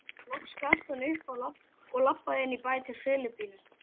Loks gafst hann upp og labbaði inn í bæ til Filippíu.